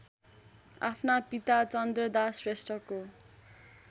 आफ्ना पिता चन्द्रदास श्रेष्ठको